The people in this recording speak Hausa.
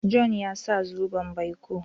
John ya saya zoben baiko.